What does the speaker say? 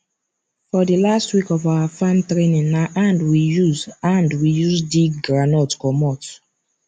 for the last week of our farm training na hand we use hand we use dig groundnut comot